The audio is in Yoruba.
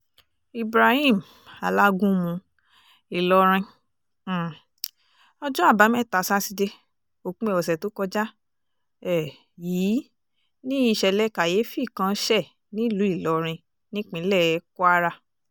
ibrahim alágúnmu ìlorin um ọjọ́ àbámẹ́ta sátidé òpin ọ̀sẹ̀ tó kọjá um yìí ni ìṣẹ̀lẹ̀ kàyééfì kan ṣe nílùú ìlọrin nípínlẹ̀ kwara